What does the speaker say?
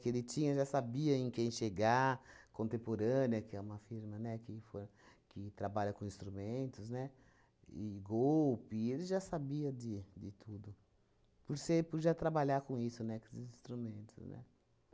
que ele tinha já sabia em quem chegar, Contemporânea, que é uma firma, né, que for que trabalha com instrumentos, né? E Golpe, ele já sabia de de tudo, por ser por já trabalhar com isso, né? Com esses instrumentos, né?